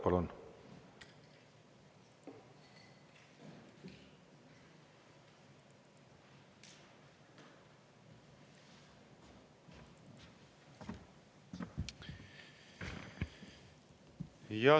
Palun!